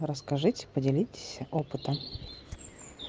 расскажите поделитесь опытом